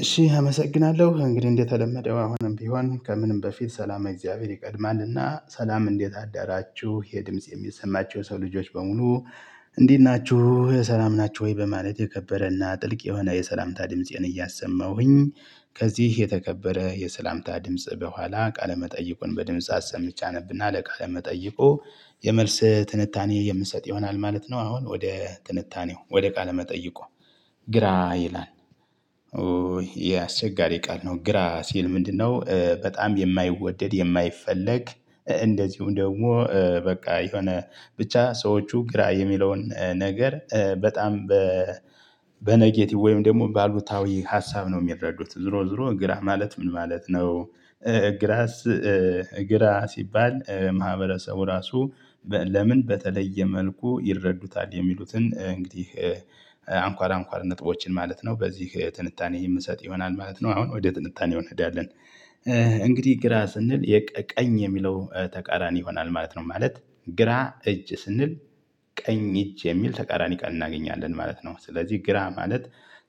እሺ አመሰግናለሁ እንግዲህ እንደተለመደው አሁንም ቢሆን ከምንም በፊት ሰላመ እግዚአብሔር ይቀድማል እና ሰላም እንዴት አደራችሁ ይሄ ድምጽ የሚሰማቹ የሰው ልጆች በሙሉ። እንዴት ናችሁ ሰላም ናቹ ወይ? በማለት የከበረና ጥልቅ የሆነ የሰላምታ ድምፄን እያሰማሁኝ ከዚህ የተከበረ የሰላምታ ድምጽ በኋላ ቃለመጠይቁን በድምጽ አሰምቼ አነብና ለቃ ለመጠይቁ የመልስ ትንታኔ የምሰጥ ይሆናል ማለት ነው። አሁን ወደ ትንታኔው ወደ ቃለ መጠይቁ ግራ ይላል። ኦይ ያ አስቸጋሪ ቃል ነው ግራ ሲል ምንድነው? በጣም የማይወደድ የማይፈለግ እንደዚሁም ደግሞ በቃ የሆነ ብቻ ሰዎቹ ግራ የሚለውን ነገር በጣም በ በኔጌቲቭ ወይም ደግሞ ባሉታዊ ሀሳብ ነው የሚረዱት ዝሮ ዝሮ ግራ ማለት ምን ማለት ነው። ግራስ። ግራ ሲባል ማህበረሰቡ ራሱ ለምን በተለየ መልኩ ይረዱታል። የሚሉትን እንግዲህ አንኳር አንኳር ነጥቦችን ማለት ነው በዚህ ትንታኔ የምሰጥ ይሆናል ማለት ነው። አሁን ወደ ትንታኔው እንሄዳለን። እንግዲህ ግራ ስንል የቀ ቀኝ የሚለው ተቃራኒ ይሆናል ማለት ነው። ማለት ግራ እጅ ስንል ቀኝ እጅ የሚል ተቃራኒ ቃል እናገኛለን ማለት ነው። ስለዚህ ግራ ማለት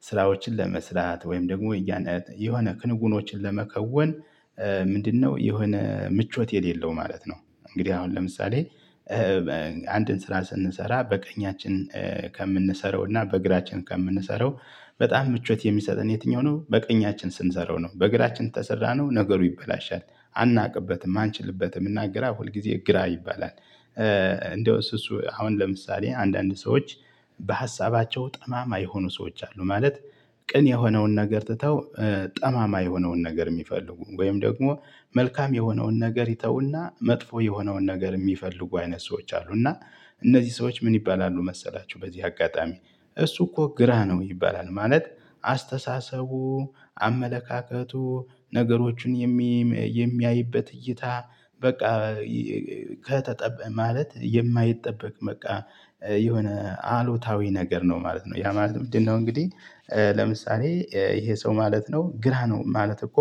ስራዎችን ለመስራት ወይም ደግሞ እያነት የሆነ ክንጉኖችን ለመከወን ምንድነው የሆነ ምቾት የሌለው ማለት ነው። እንግዲህ አሁን ለምሳሌ አንድን ስራ ስንሰራ በቀኛችን ከምንሰራው እና በግራችን ከምንሰራው በጣም ምቾት የሚሰጠን የትኛው ነው? በቀኛችን ስንሰራው ነው በግራችን ተሰራነው ነገሩ ይበላሻል። አናውቅበትም አንችልበትም እና ግራ ሁልጊዜ ግራ ይባላል። እንደው እሱ እሱ አሁን ለምሳሌ አንዳንድ ሰዎች በሀሳባቸው ጠማማ የሆኑ ሰዎች አሉ። ማለት ቅን የሆነውን ነገር ትተው ጠማማ የሆነውን ነገር የሚፈልጉ ወይም ደግሞ መልካም የሆነውን ነገር ይተውና መጥፎ የሆነውን ነገር የሚፈልጉ አይነት ሰዎች አሉ። እና እነዚህ ሰዎች ምን ይባላሉ? መሰላችሁ በዚህ አጋጣሚ እሱ እኮ ግራ ነው ይባላል። ማለት አስተሳሰቡ ነገሮችን የሚም የሚያይበት እይታ በቃ ከተጠበቀ ማለት የማይጠበቅ በቃ የሆነ አሉታዊ ነገር ነው ማለት ነው። ያ ማለት ምንድነው? እንግዲህ ለምሳሌ ይሄ ሰው ማለት ነው። ግራ ነው ማለት እኮ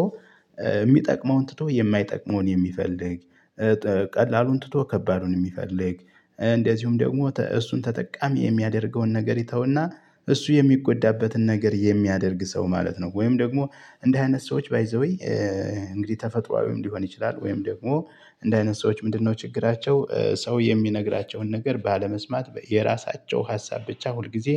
የሚጠቅመውን ትቶ የማይጠቅመውን የሚፈልግ ቀላሉን ትቶ ከባዱን የሚፈልግ እንደዚሁም ደግሞ ተእሱን ተጠቃሚ የሚያደርገውን ነገር ይተውና እሱ የሚጎዳበትን ነገር የሚያደርግ ሰው ማለት ነው። ወይም ደግሞ እንደዚህ አይነት ሰዎች ባይ ዘ ዌይ እንግዲህ ተፈጥሮአዊም ሊሆን ይችላል። ወይም ደግሞ እንደ አይነት ሰዎች ምንድነው ችግራቸው? ሰው የሚነግራቸውን ነገር ባለመስማት የራሳቸው ሀሳብ ብቻ ሁል ጊዜ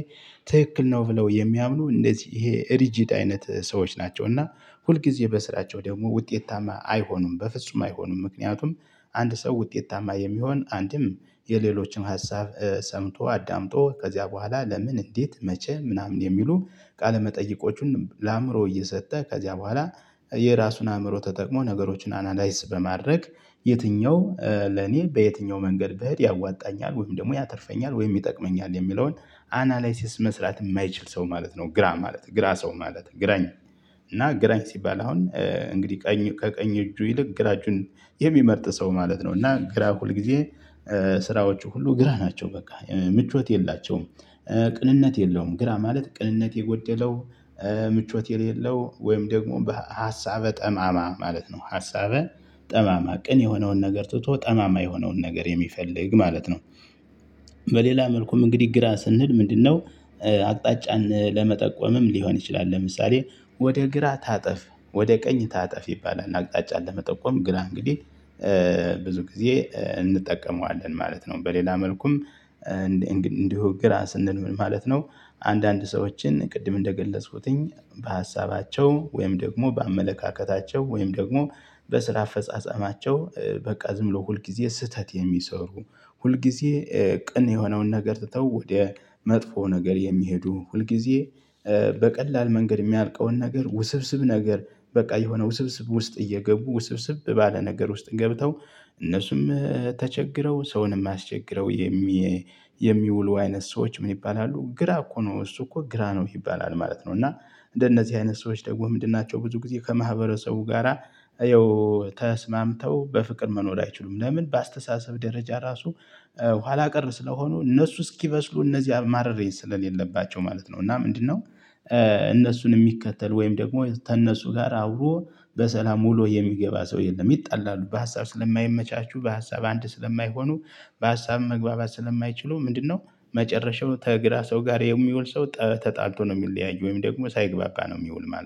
ትክክል ነው ብለው የሚያምኑ እንደዚህ ይሄ ሪጂድ አይነት ሰዎች ናቸው። እና ሁልጊዜ በስራቸው ደግሞ ውጤታማ አይሆኑም በፍጹም አይሆኑም። ምክንያቱም አንድ ሰው ውጤታማ የሚሆን አንድም የሌሎችን ሀሳብ ሰምቶ አዳምጦ ከዚያ በኋላ ለምን እንዴት መቼ ምናምን የሚሉ ቃለመጠይቆቹን ለአእምሮ እየሰጠ ከዚያ በኋላ የራሱን አእምሮ ተጠቅሞ ነገሮችን አናላይዝ በማድረግ የትኛው ለኔ በየትኛው መንገድ ብሄድ ያዋጣኛል ወይም ደግሞ ያተርፈኛል ወይም ይጠቅመኛል የሚለውን አናላይሲስ መስራት የማይችል ሰው ማለት ግራ ማለት ግራ ሰው ማለት ግራኝ እና ግራኝ ሲባል አሁን እንግዲህ ቀኝ ከቀኝ እጁ ይልቅ ግራጁን የሚመርጥ ሰው ማለት ነው እና ግራ ሁል ጊዜ ስራዎቹ ሁሉ ግራ ናቸው በቃ ምቾት የላቸውም ቅንነት የለውም ግራ ማለት ቅንነት የጎደለው ምቾት የሌለው ወይም ደግሞ በሀሀሳበ ጠማማ ማለት ነው ሀሳበ ጠማማ ቅን የሆነውን ነገር ትቶ ጠማማ የሆነውን ነገር የሚፈልግ ማለት ነው። በሌላ መልኩም እንግዲህ ግራ ስንል ምንድነው? አቅጣጫን ለመጠቆምም ሊሆን ይችላል ለምሳሌ ወደ ግራ ታጠፍ ወደ ቀኝ ታጠፍ ይባላል። አቅጣጫን ለመጠቆም ግራ እንግዲህ ብዙ ጊዜ እንጠቀመዋለን ማለት ነው። በሌላ መልኩም እንዲ እንዲሁ ግራ ስንል ምን ማለት ነው? አንዳንድ ሰዎችን ቅድም እንደገለጽኩኝ በሀሳባቸው ወይም ደግሞ በአመለካከታቸው ወይም ደግሞ በስራ አፈጻጸማቸው በቃ ዝም ብሎ ሁል ጊዜ ስህተት የሚሰሩ ሁል ጊዜ ቅን የሆነውን ነገር ትተው ወደ መጥፎ ነገር የሚሄዱ ሁልጊዜ። በቀላል መንገድ የሚያልቀውን ነገር ውስብስብ ነገር በቃ የሆነ ውስብስብ ውስጥ እየገቡ ውስብስብ ባለ ነገር ውስጥ ገብተው እነሱም ተቸግረው ሰውንም አስቸግረው የሚ የሚውሉ አይነት ሰዎች ምን ይባላሉ ግራ እኮ ነው እሱ እኮ ግራ ነው ይባላል ማለት ነው። እና እንደነዚህ አይነት ሰዎች ደግሞ ምንድን ናቸው? ብዙ ጊዜ ከማህበረሰቡ ጋራ ይኸው ተስማምተው በፍቅር መኖር አይችሉም። ለምን በአስተሳሰብ ደረጃ ራሱ ኋላ ቀር ስለሆኑ እነሱ እስኪበስሉ እነዚያ ማረር ስለሌለባቸው ማለት ነው። እና ምንድነው? እነሱን የሚከተል ወይም ደግሞ ከእነሱ ጋር አብሮ በሰላም ውሉ የሚገባ ሰው የለም። ይጣላሉ በሀሳብ ስለማይመቻቹ በሀሳብ አንድ ስለማይሆኑ በሀሳብም መግባባት ስለማይችሉ ምንድነው? መጨረሻው ከግራ ሰው ጋር የሚውል ሰው ጠተጣልቶ ነው የሚለያይ ወይም ደግሞ ሳይግባባ ነው የሚውል ማለት ነው